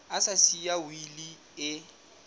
a sa siya wili e